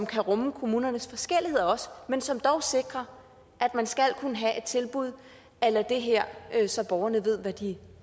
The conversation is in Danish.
kan rumme kommunernes forskelligheder men som dog sikrer at man skal kunne have et tilbud a la det her så borgerne ved hvad de